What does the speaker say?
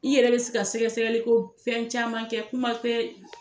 I yɛrɛ bɛ se ka sɛgɛ sɛgɛli ko fɛn caman kɛ kuma tɛ